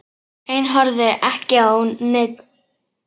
Ein horfði ekki á neinn.